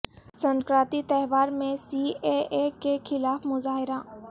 سنکرانتی تہوار میں C A A کے خلاف مظاہرہ